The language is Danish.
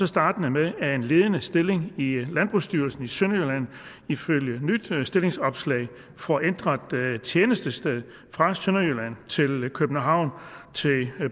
startende med at en ledende stilling i i landbrugsstyrelsen i sønderjylland ifølge nyt stillingsopslag får ændret tjenestested fra sønderjylland til københavn til